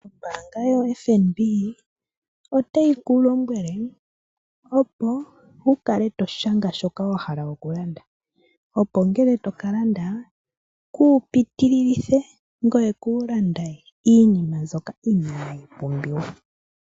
Ombaanga yo FNB otayi ku lombwele opo wu kale to shanga shoka wa hala okulanda, opo ngele to kalanda kuupitililithe, ngoye kuulande iinima mbyoka inaayi pumbiwa.